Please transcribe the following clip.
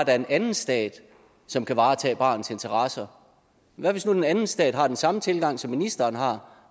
er en anden stat som kan varetage barnets interesser hvad hvis nu den anden stat har samme tilgang som ministeren har